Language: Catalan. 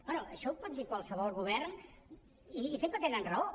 bé això ho pot dir qualsevol govern i sempre tenen raó